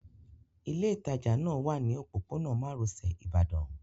Ilé ìtajà náà wà ní òpópónà márosẹ̀ Ibadan